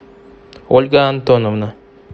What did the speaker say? ольга антоновна